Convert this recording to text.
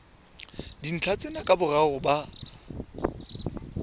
dintlha tsena ka boraro ba